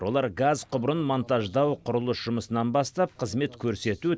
олар газ құбырын монтаждау құрылыс жұмысынан бастап қызмет көрсету